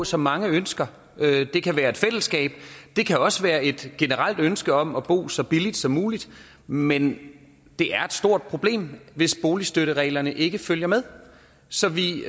som mange ønsker det kan være et fællesskab det kan også være et generelt ønske om at bo så billigt som muligt men det er et stort problem hvis boligstøttereglerne ikke følger med så vi